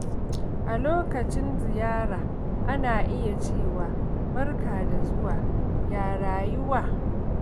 A lokacin ziyara, ana iya cewa “Barka da zuwa, ya rayuwa?.”